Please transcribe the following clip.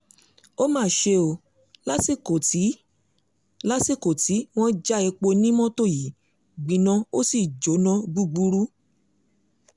ó mà ṣe o lásìkò tí lásìkò tí wọ́n ń já epo ni mọ́tò yìí gbiná ó sì jóná gbúgbúrú